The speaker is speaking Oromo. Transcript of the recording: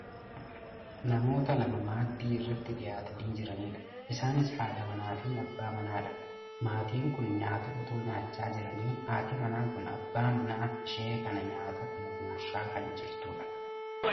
namoota lama maaddii irratti dhiyaatanii jiranidha. isaanis haadha mana fi abbaa manaadha. maatiin kun nyaata otoo nyaachaa jiranii haati manaa kun abbaa manaa ishee kana nyaata sana gurshaa kan jirtudha.